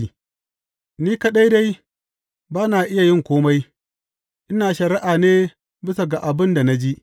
Ni kaɗai dai ba na iya yin kome, ina shari’a ne bisa ga abin da na ji.